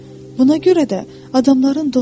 Buna görə də adamların dostu yoxdur.